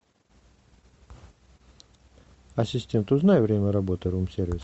ассистент узнай время работы рум сервиса